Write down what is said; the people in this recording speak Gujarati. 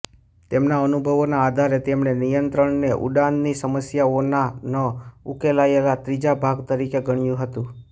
તેમના અનુભવોના આધારે તેમણે નિયંત્રણને ઉડાનની સમસ્યાઓના ન ઉકેલાયેલા ત્રીજા ભાગ તરીકે ગણ્યું હતું